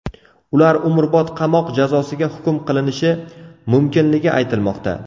Ular umrbod qamoq jazosiga hukm qilinishi mumkinligi aytilmoqda.